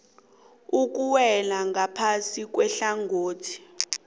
okuwela ngaphasi kwehlangothi